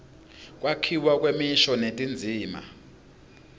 kwakhiwa kwemisho netindzima